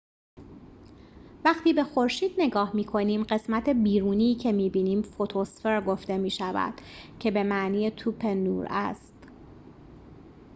وقتی به خورشید نگاه می‌کنیم قسمت بیرونی که می‌بینیم فوتوسفر گفته می‌شود که به معنی توپ نور است